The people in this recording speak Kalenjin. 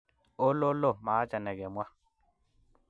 ololoo! Maaacha ne kemwaa